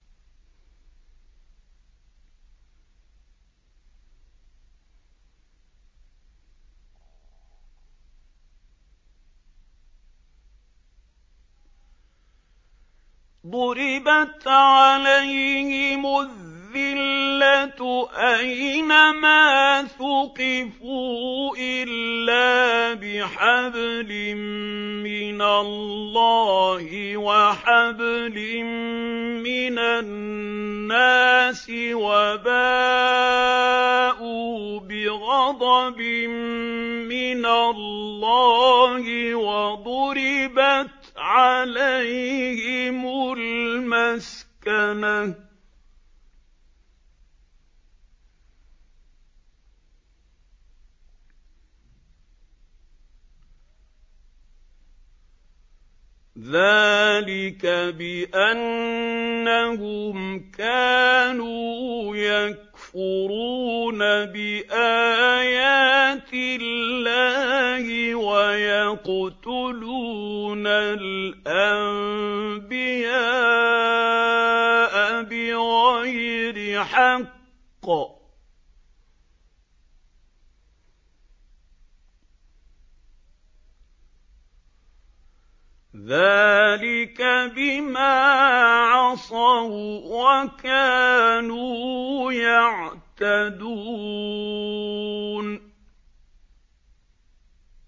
ضُرِبَتْ عَلَيْهِمُ الذِّلَّةُ أَيْنَ مَا ثُقِفُوا إِلَّا بِحَبْلٍ مِّنَ اللَّهِ وَحَبْلٍ مِّنَ النَّاسِ وَبَاءُوا بِغَضَبٍ مِّنَ اللَّهِ وَضُرِبَتْ عَلَيْهِمُ الْمَسْكَنَةُ ۚ ذَٰلِكَ بِأَنَّهُمْ كَانُوا يَكْفُرُونَ بِآيَاتِ اللَّهِ وَيَقْتُلُونَ الْأَنبِيَاءَ بِغَيْرِ حَقٍّ ۚ ذَٰلِكَ بِمَا عَصَوا وَّكَانُوا يَعْتَدُونَ